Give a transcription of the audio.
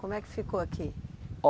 Como é que ficou aqui?